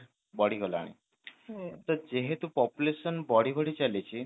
ବଢି ଗଲାଣି ତ ତ ଯେହେତୁ population ବଢି ବଢି ଚାଲିଛି